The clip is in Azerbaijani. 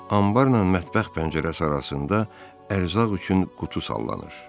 Anbarla mətbəx pəncərəsi arasında ərzaq üçün qutu sallanır.